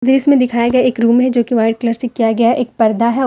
दृश्य में दिखाया गया एक रूम है जोकि व्हाइट कलर से किया गया एक पर्दा है।